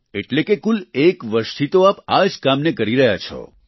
એટલે કે કુલ એક વર્ષથી તો આપ આ જ કામને કરી રહ્યા છો